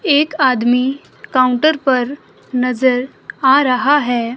एक आदमी काउंटर पर नजर आ रहा है।